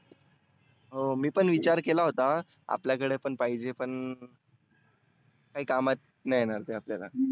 हो मी पण विचार केला होता आपल्या कडे पण पाहिजे पण काही कामात नाही येणार ते आपल्याला.